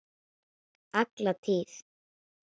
Alla tíð.